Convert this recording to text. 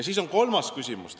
Siis tekib kolmas küsimus.